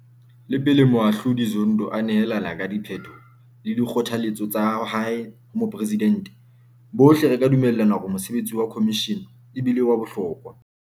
Le pele Moahlodi Zondo a nehelana ka diphetho le dikgothaletso tsa hae ho Moporesidente, bohle re ka dumellana hore mosebetsi wa khomishene e bile wa bohlokwa.